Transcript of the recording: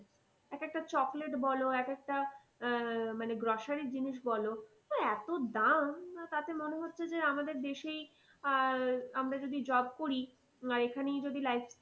এক একটা chocolate বলো এক একটা আহ মানে grocery জিনিস বলো ওই এতো দাম তাতে মনে হচ্ছে যে আমাদের দেশেই আহ আমরা যদি job করি আহ এখানেই যদি life